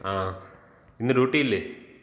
ങാ, ഇന്ന് ഡ്യൂട്ടീല്ലേ?